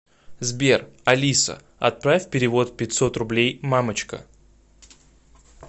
сбер алиса отправь перевод пятьсот рублей мамочка